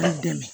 I dɛmɛ